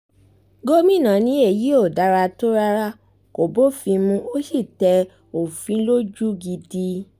gomina ni èyí ò dára tó rárá kó bófin mu ó sì tẹ òfin lójú gidi